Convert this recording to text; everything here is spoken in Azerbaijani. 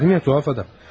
Dedim ya, tuhaf adam.